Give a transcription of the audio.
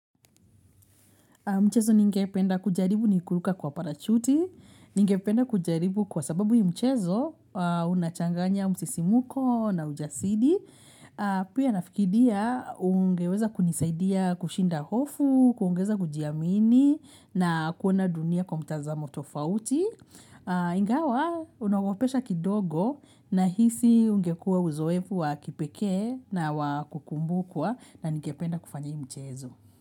Mchezo ningependa kujaribu ni kuluka kwa parachuti, ningependa kujaribu kwa sababu hii mchezo unachanganya msisi muko na ujasidi. Pia nafikidia ungeweza kunisaidia kushinda hofu, kuongeza kujiamini na kuona dunia kwa mtaza motofauti. Ingawa unaogopesha kidogo na hisi ungekua uzoefu wa kipekee na wakukumbukwa na ningependa kufanya i mchezo.